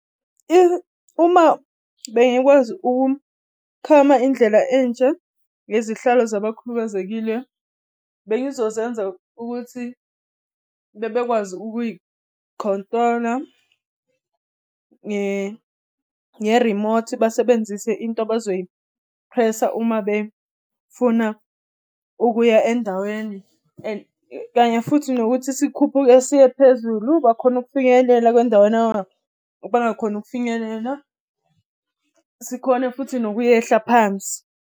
Uma bengikwazi ukukhama indlela entsha nezihlalo zabakhubazekile, bengizozenza ukuthi bekwazi ukuyi-control-a nge-remote. Basebenzise into bazoyi-press-a uma befuna ukuya endaweni. And kanye futhi nokuthi sikhuphuke siye phezulu, bakhona ukufinyelela endaweni abangakhoni ukufinyelela. Sikhone futhi nokuyehla phansi.